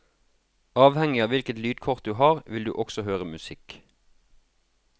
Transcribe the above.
Avhengig av hvilket lydkort du har vil du også høre musikk.